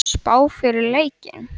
Spá fyrir leikinn?